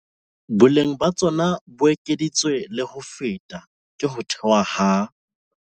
Boleng ba tsona bo ekeditswe le ho feta ke ho thewa ha